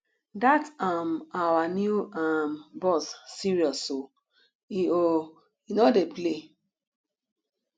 dat um our new um boss serious oo he oo he no dey play